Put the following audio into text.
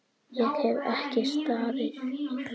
Ég hef ekki staðið mig!